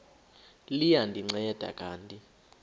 liya ndinceda kanti